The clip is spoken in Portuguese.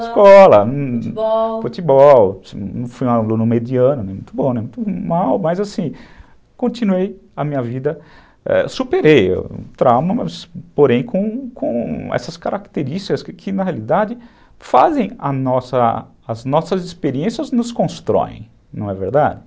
Escola, futebol, fui aluno mediano, muito bom, muito mal, mas assim, continuei a minha vida, é, superei o trauma, porém com essas características que na realidade fazem a as nossas experiências nos constroem, não é verdade?